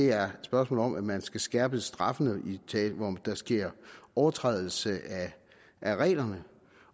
er spørgsmålet om at man skal skærpe straffene hvor der sker overtrædelse af reglerne